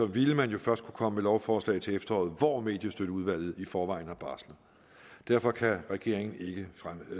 ville man jo først kunne komme med lovforslag til efteråret hvor mediestøtteudvalget i forvejen har barslet derfor kan regeringen ikke